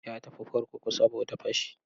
Ya tafi kurkuku saboda fashi.